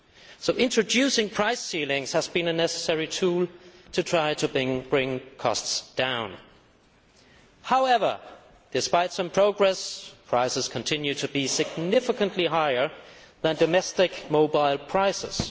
So introducing price ceilings has been a necessary tool to try to bring costs down. However, despite some progress, prices continue to be significantly higher than domestic mobile prices.